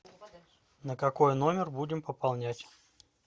на какой номер будем пополнять